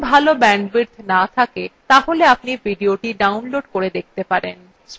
যদি ভাল bandwidth না থাকে তাহলে আপনি ভিডিওটি download করে দেখতে পারেন